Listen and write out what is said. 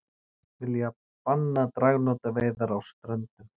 Vilja banna dragnótaveiðar á Ströndum